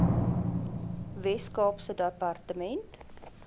wes kaapse departement